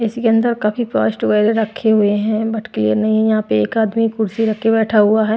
इसके अंदर काफी रखे हुए हैं बट क्लीयर नहीं है यहाँ पे एक आदमी कुर्सी रख के बैठा हुआ है।